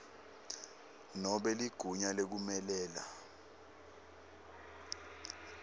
nobe ligunya lekumelela